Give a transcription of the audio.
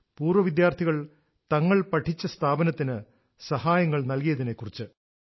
പൂർവ വിദ്യാർഥികൾ തങ്ങൾ പഠിച്ച സ്ഥാപനത്തിനു സഹായങ്ങൾ നൽകിയതിനെക്കുറിച്ച്